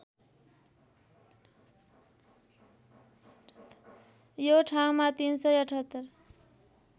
यो ठाउँमा ३७८